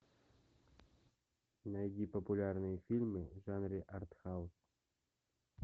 найди популярные фильмы в жанре артхаус